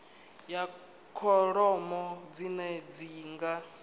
ya kholomo dzine dzi nga